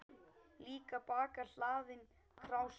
Líka bakka hlaðinn krásum.